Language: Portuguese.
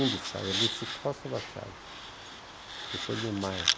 Um dos pais, é Lúcio Costa e Warchavchik , depois Niemeyer.